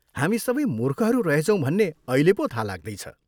हामी सबै मूर्खहरू रहेछौँ भन्ने अहिले पो थाहा लाग्दैछ।